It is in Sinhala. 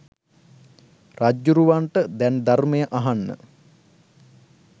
රජ්ජුරුවන්ට දැන් ධර්මය අහන්න